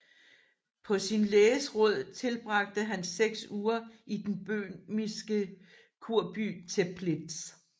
På sin læges råd tilbragte han seks uger i den bøhmiske kurby Teplitz